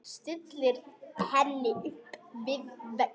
Stillir henni upp við vegg.